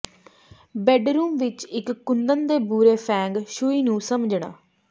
bedroom ਵਿੱਚ ਇੱਕ ਕੁੰਦਨ ਦੇ ਬੁਰੇ ਫੇਂਗ ਸ਼ੂਈ ਨੂੰ ਸਮਝਣਾ